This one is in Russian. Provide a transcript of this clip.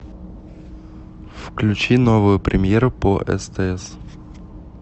включи новую премьеру по стс